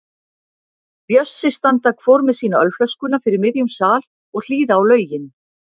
Bjössi standa hvor með sína ölflöskuna fyrir miðjum sal og hlýða á lögin.